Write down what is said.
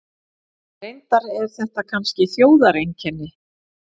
Reyndar er þetta kannski þjóðareinkenni.